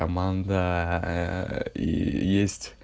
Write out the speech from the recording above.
командаа есть